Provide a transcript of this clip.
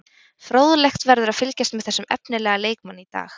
Fróðlegt verður að fylgjast með þessum efnilega leikmanni í dag.